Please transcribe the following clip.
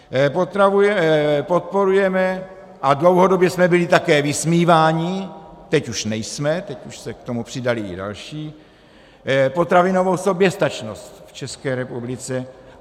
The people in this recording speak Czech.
Podporujeme, a dlouhodobě jsme byli také vysmíváni, teď už nejsme, teď už se k tomu přidali i další, potravinovou soběstačnost v České republice.